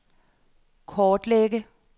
kortlægge